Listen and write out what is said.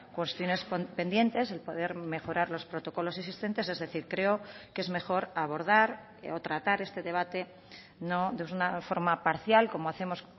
cuestiones pendientes el poder mejorar los protocolos existentes es decir creo que es mejor abordar o tratar este debate no de una forma parcial como hacemos